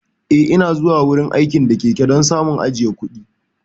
Eh, Ina zuwa wurin aiki da keke don samun ajiye kuɗi.